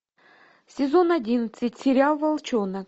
сезон одиннадцать сериал волчонок